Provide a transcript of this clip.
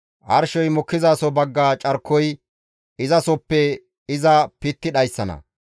Arshey mokkizaso bagga carkoy izasoppe iza pitti dhayssana.